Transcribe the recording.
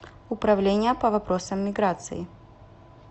управление по вопросам миграции